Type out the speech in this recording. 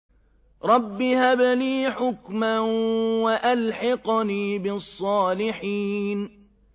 رَبِّ هَبْ لِي حُكْمًا وَأَلْحِقْنِي بِالصَّالِحِينَ